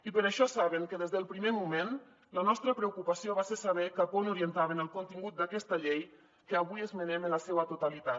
i per això saben que des del primer moment la nostra preocupació va ser saber cap a on orientaven el contingut d’aquesta llei que avui esmenem en la seua totalitat